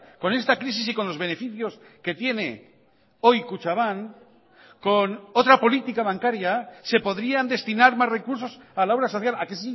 con esta crisis y con los beneficios que tiene hoy kutxabank con otra política bancaria se podrían destinar más recursos a la obra social a que